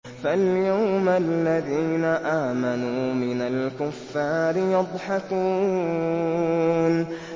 فَالْيَوْمَ الَّذِينَ آمَنُوا مِنَ الْكُفَّارِ يَضْحَكُونَ